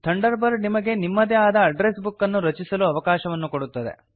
thunder bird ನಿಮಗೆ ನಿಮ್ಮದೇ ಆದ ಅಡ್ಡ್ರೆಸ್ ಬುಕ್ ಅನ್ನು ರಚಿಸಲು ಅವಕಾಶವನ್ನು ಕೊಡುತ್ತದೆ